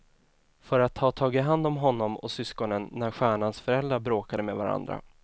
För att ha tagit hand om honom och syskonen när stjärnans föräldrar bråkade med varandra.